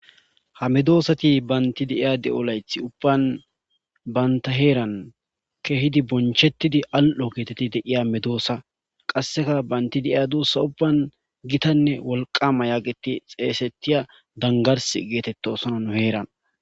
ha medoosati baynti de7iya de7o layth ubban banta heeran kehidi bonchettidi al7o geetetti deiya medoossa qasseka baynti deiya duussa ubban gitanne wolqama yaageti xeesetiya dangars geetetto sonan heeran